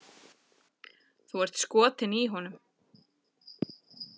Þú ert skotin í honum!